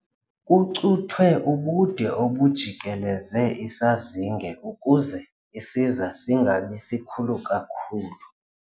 Kucuthwe ubude obujikeleze isazinge ukuze isiza singabi sikhulu kakhulu.